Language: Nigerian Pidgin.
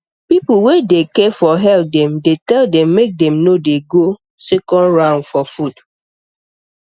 people wey dey care for health dem dey tell dem make dem no dey go second round for food